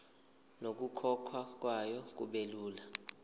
nokukhokhwa kwayo kubelula